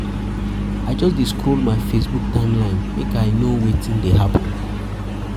I just dey scroll my Facebook timeline make I know wetin dey happen.